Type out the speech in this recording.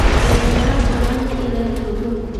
Mbegũ ya mboga nĩ ĩrendio thoko,